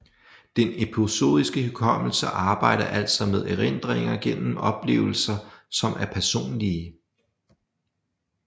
Den episodiske hukommelse arbejder altså med erindringer gennem oplevelser som er personlige